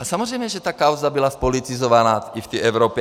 A samozřejmě že ta kauza byla zpolitizovaná i v té Evropě.